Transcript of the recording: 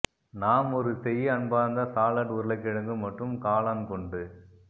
நாம் ஒரு செய்ய அன்பார்ந்த சாலட் உருளைக்கிழங்கு மற்றும் காளான் கொண்டு